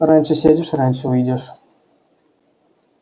раньше сядешь раньше выйдешь